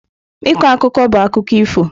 Ịkọ akụkọ bụ akụkọ ifo.